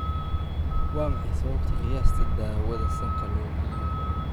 waa maxay sababta qiyaasta daawada sanka loo geliyo?